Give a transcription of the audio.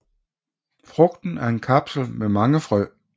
Frugten er en kapsel med mange frø